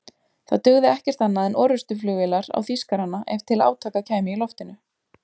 Það dugði ekkert annað en orrustuflugvélar á Þýskarana ef til átaka kæmi í loftinu.